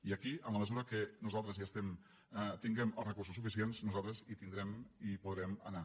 i aquí en la mesura que nosaltres tinguem els recursos suficients nosaltres en tindrem i hi podrem anar